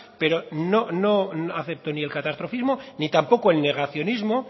pero no acepto ni el catastrofismo ni tampoco el negacionismo